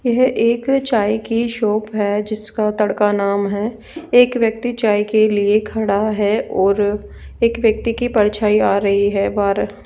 यह एक चाय की शॉप है जिसका तड़का नाम है एक व्यक्ति चाय के लिए खड़ा है और एक व्यक्ति की परछाई आ रही है बाहर।